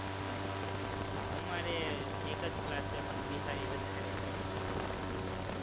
અમારે એક જ class છે, પણ બિહારી વધારે છે, બિહારના લોકો